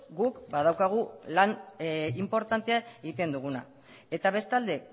guk badaukagula lan inportantea egiten duguna eta bestalde